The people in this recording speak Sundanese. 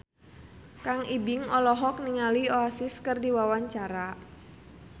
Kang Ibing olohok ningali Oasis keur diwawancara